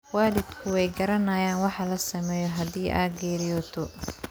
Waalidku way garanayaan waxa la sameeyo haddii ay geeriyooto.